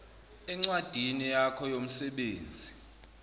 encwadini yakho yomsebenzi